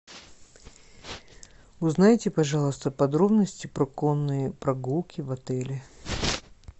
узнайте пожалуйста подробности про конные прогулки в отеле